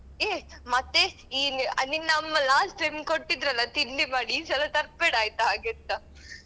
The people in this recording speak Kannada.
ಏ ಮತ್ತೆ ಈ ನಿನ್ನ ಅಮ್ಮ last time ಕೊಟ್ಟಿದ್ರಲ್ಲ ತಿಂಡಿ ಮಾಡಿ ಈ ಸಲ ತರ್ಬೇಡ ಆಯ್ತಾ ಹಾಗೆಂತ.